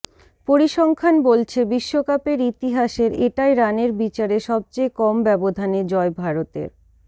পরিসংখ্যান বলছে বিশ্বকাপের ইতিহাসের এটাই রানের বিচারে সবচেয়ে কম ব্যবধানে জয় ভারতের